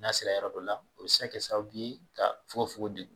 N'a sera yɔrɔ dɔ la o bɛ se kɛ sababuye ka fogonfogon degun.